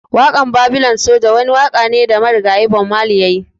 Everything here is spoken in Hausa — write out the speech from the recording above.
Wakan Babylon soja wani waka ne da marigayi Bob Marley ya yi.